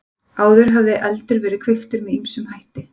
Áður hafði eldur verið kveiktur með ýmsum hætti.